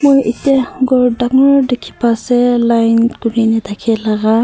aru ete room dangor dikhipase line kurina thakey laga.